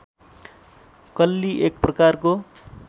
कल्ली एक प्रकारको